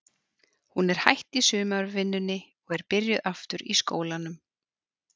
Hún er hætt í sumarvinnunni og er byrjuð aftur í skólanum.